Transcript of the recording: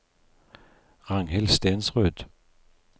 Ragnhild Stensrud